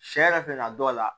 Sɛ yɛrɛ bɛ na dɔw la